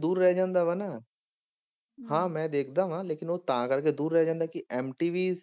ਦੂਰ ਰਹਿ ਜਾਂਦਾ ਵਾ ਨਾ ਹਾਂ ਮੈਂ ਦੇਖਦਾ ਵਾਂ ਲੇਕਿੰਨ ਉਹ ਤਾਂ ਕਰਕੇ ਦੂਰ ਰਹਿ ਜਾਂਦਾ ਕਿਉਂਕਿ MTV